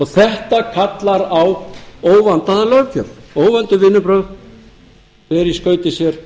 þetta kallar á óvandaða löggjöf óvönduð vinnubrögð bera í skauti sér